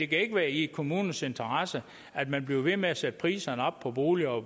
kan ikke være i kommunernes interesse at man bliver ved med at sætte priserne op på boliger og